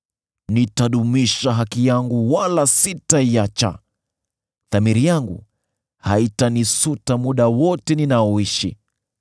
Nitadumisha haki yangu wala sitaiacha; dhamiri yangu haitanisuta muda wote ninaoishi.